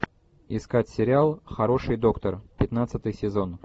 искать сериал хороший доктор пятнадцатый сезон